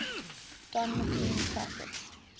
don mclean classics